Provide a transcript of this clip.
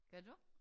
Gør du?